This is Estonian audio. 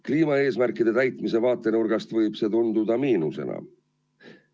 Kliimaeesmärkide täitmise vaatenurgast võib see tunduda miinusena.